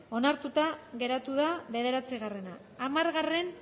onartuta geratu da bederatzigarrena hamargarrena